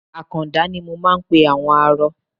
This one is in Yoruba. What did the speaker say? Àkàndá ni mo máa ń pe àwọn arọ.